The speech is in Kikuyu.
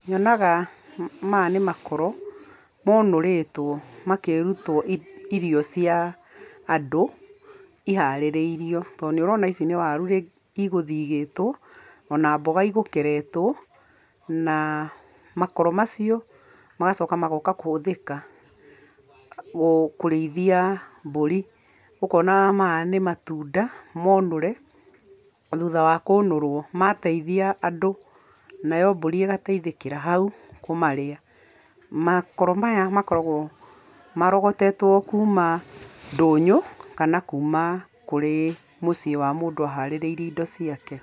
Nyonaga, maya nĩ makoro maũnũrĩtwo, makĩrutwo irio cia andũ iharĩrĩirio. Tondũ nĩ ũrona ici nĩ waru igũthigĩtwo, o na mboga igũkeretwo, na makoro macio magacoka magooka kũhũthĩka kũrĩithia mbũri. Ũkona maya nĩ matunda maũnũre. Thutha wa kũũnũrwo, mateithia andũ, nayo mbũri ĩgateithĩkĩra hau, kũmarĩa. Makoro maya makoragwo marogotetwo kuuma ndũnyũ kana kuuma kũrĩ mũciĩ wa mũndũ aharĩrĩirie indo ciake.